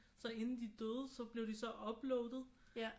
Så det inden de døde så blev de så uploadet